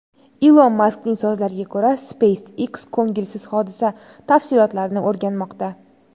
Ilon Maskning so‘zlariga ko‘ra, SpaceX ko‘ngilsiz hodisa tafsilotlarini o‘rganmoqda.